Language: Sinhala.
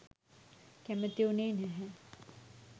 කැමැති වුණේ නැහැ.